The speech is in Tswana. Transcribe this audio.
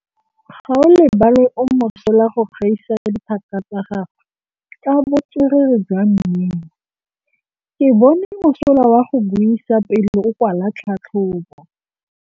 Gaolebalwe o mosola go gaisa dithaka tsa gagwe ka botswerere jwa mmino. Ke bone mosola wa go buisa pele o kwala tlhatlhobô.